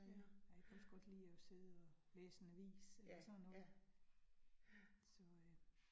Ja. Ej, jeg kan også godt lide at sidde og læse en avis eller sådan noget. Så øh